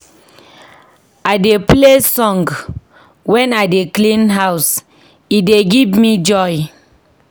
I dey play song wen I dey clean house, e dey give me joy.